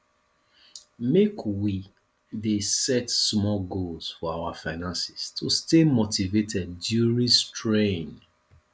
make we dey set small goals for our finances to stay motivated during strain